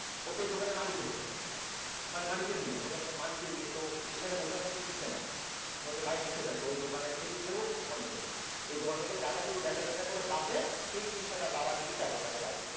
ও তো এই দোকানের মালিকের ছেলে মালিকের মেয়ে, বললাম যে মালিকের মেয়ে তো এখানে বসে আছে আপনি দিচ্ছেন না কেন? বলছে ভাই নিষেধ আছে ও দোকানের থেকে কোন কিছু নিছে যা, এই দোকান থেকে যা যা কিছু বেচা টেচা করে বাঁচে সেই জিনিসটা তার বাবা নিয়ে তারপর তাকে বাড়িতে